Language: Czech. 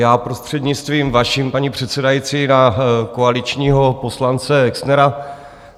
Já prostřednictvím vaším, paní předsedající, na koaličního poslance Exnera.